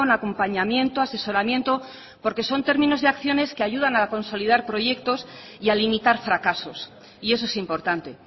acompañamiento asesoramiento porque son términos y acciones que ayudan a consolidar proyectos y a limitar fracasos y eso es importante